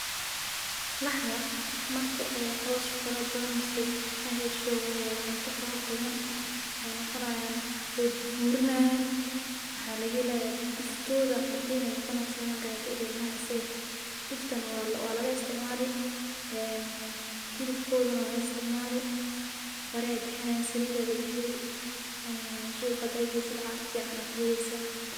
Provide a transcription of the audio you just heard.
Laxda marki ay coos farabadan mise ay xesho cunta farabadan, waxay nogonayana, way burburanaya, waxa lagaxelaya duuftoda cadiin ay nogoneysa, gaajo ilen maxayse, duuftana walaga isticmali, ee xilobkodana wala isticmali, barii ayay bixinayan, saliit aa lagaxeli, ee suqaa xadha qeysid lacag fican a kuxeleysa,